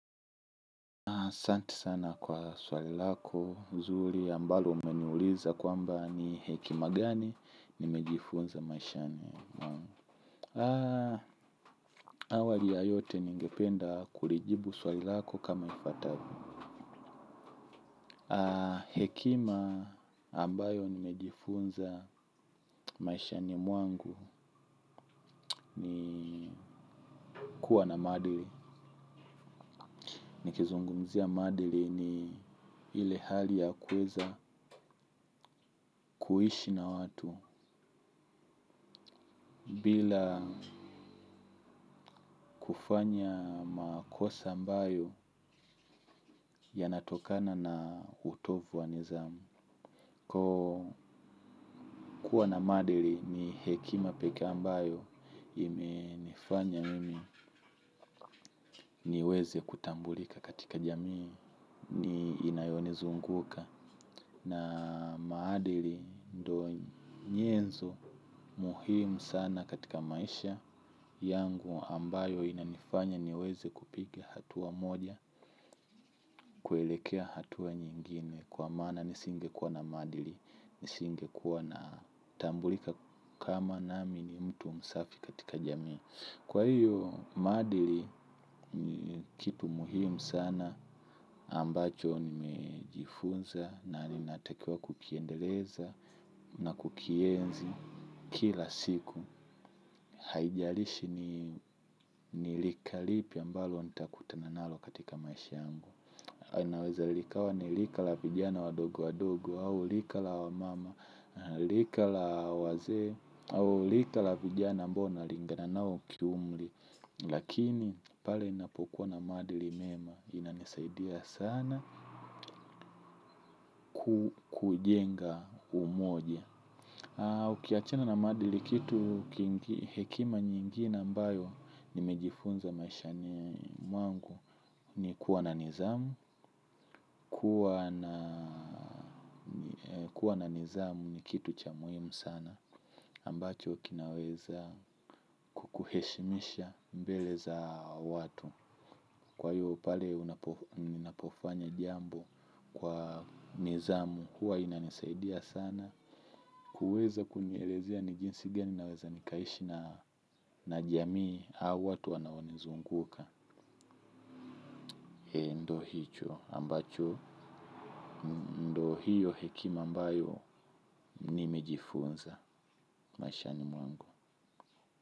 Santi sana kwa swali lako zuri ambalo umeniuliza kwamba ni hekima gani nimejifunza maishani mwangu. Awali ya yote ningependa kulijibu swali lako kama ifuatavyo. Hekima ambayo nimejifunza maishani mwangu nikuwa na maadili. Nikizungumzia maadili ni ile hali ya kuweza kuishi na watu bila kufanya makosa ambayo yanatokana na utovu wa nidhamu. Kuwa na maadili ni hekima peke ambayo imenifanya mimi niweze kutambulika katika jamii inayo nizunguka. Na maadili ndo nyenzo muhimu sana katika maisha yangu ambayo inanifanya niweze kupiga hatua moja kuelekea hatua nyingine. Kwa maana nisingekuwa na maadili nisingekuwa natambulika kama nami ni mtu msafi katika jamii. Kwa hiyo maadili ni kitu muhimu sana ambacho nimejifunza na linatakiwa kukiendeleza na kukienzi kila siku haijalishi ni rika lipi ambalo nitakutana nalo katika maisha yangu. Inaweza likawa ni lika la vijana wadogo wadogo au lika la wa mama lika la wazee au lika la vijana ambao nalingana nao kiumli lakini pale inapokuwa na maadili mema inanisaidia sana kujenga umoja. Ukiachana na maadili kitu hekima nyinginre ambayo nimejifunza maishani mwangu ni kuwa na nidhamu. Kuwa na nizamu ni kitu cha muhimu sana ambacho kinaweza kuheshimisha mbele za watu. Kwa hiyo pale unapofanya jambo kwa nizamu huwa inanisaidia sana. Kuweza kunielezea ni jinsi gani naweza nikaishi na jamii. Hau watu wanaonizunguka E ndo hicho ambacho ndo hiyo hekima mbayo ni mejifunza maishani mwangu.